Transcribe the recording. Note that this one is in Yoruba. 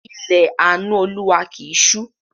Ilẹ̀ àánú Olúwa kì í ṣú